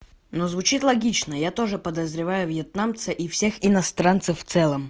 но звучит логично я тоже подозреваю вьетнамцы и всех иностранцев в целом